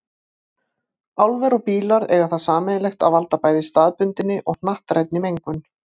Álver og bílar eiga það sameiginlegt að valda bæði staðbundinni og hnattrænni mengun.